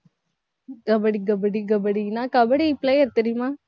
கபடி, கபடி, கபடி நான் கபடி player தெரியுமா